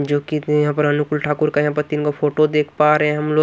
जो कि यहां पर अनुकूल ठाकुर का यहां पर तीन का फोटो देख पा रहे हैं हम लोग।